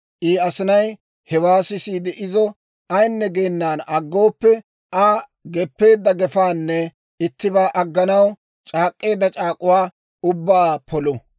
I asinay hewaa sisiide izo ayinne geenan aggooppe, Aa geppeedda gefaanne ittibaa agganaw c'aak'k'eedda c'aak'uwaa ubbaa polu.